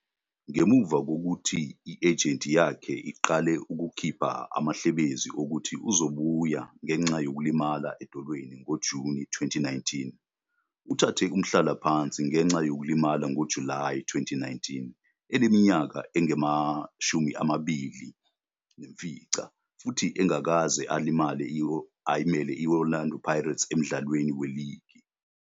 Ngemuva kokuthi i-ejenti yakhe iqale ukuphika amahlebezi okuthi uzobuya ngenxa yokulimala edolweni ngoJuni 2019, uthathe umhlalaphansi ngenxa yokulimala ngoJulayi 2019, eneminyaka engama-29 futhi engakaze ayimele i-Orlando Pirates emdlalweni weligi..